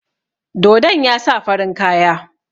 Dodon ya sa farin kaya.